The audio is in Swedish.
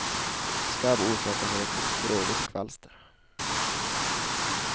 Skabb orsakas av ett litet gråvitt kvalster.